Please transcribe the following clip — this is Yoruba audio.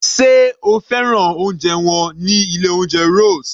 Sé o fẹ́ràn oúnjẹ wọn ní ilé oúnjẹ Rose?